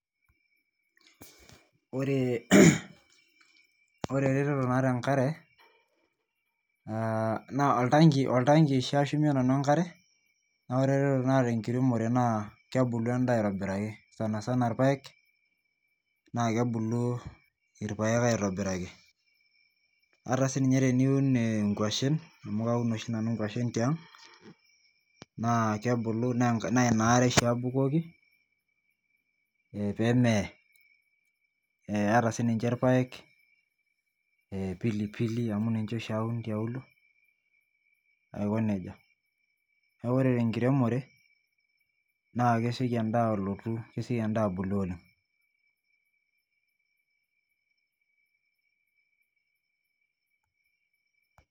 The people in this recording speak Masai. Ore eretoto naata enkare naa oltanki oshi ashumie nanu enkare. naa ore eretoto naata tenkiremore naa, kebulu edaa aitobiraki, sanasana ilapaek. naa kebulu ilpaek aitobiraki. ata sii ninye teniun inkwashen amu Kaun oshi nanu nkwashen tiang' naa Ina are oshi abukoki, pee meye. ata sii ninche ilpaek pilipili amu ninche oshi aun tialo. ore te nkiremore naa kesioki edaa ablotu kesioki edaa abulu oleng